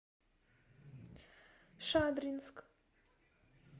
шадринск